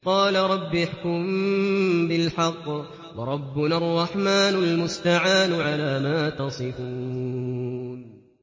قَالَ رَبِّ احْكُم بِالْحَقِّ ۗ وَرَبُّنَا الرَّحْمَٰنُ الْمُسْتَعَانُ عَلَىٰ مَا تَصِفُونَ